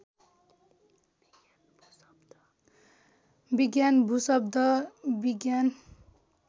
विज्ञान भूशब्द विज्ञान